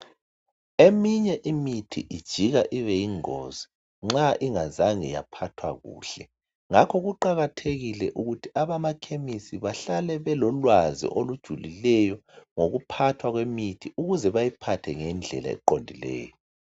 Eminye imithi ijika ibe yingongizi ma ingazange yaphathwa kuhle. Ngakho kuqakathekile ukuthi abamakhemisi bahle belolwazi olujulileyo ngokuphathwa kwemithi ukuze bayiphathe ngendlela eqondileyo.